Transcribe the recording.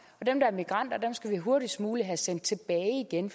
og dem der er migranter skal vi hurtigst muligt sende tilbage igen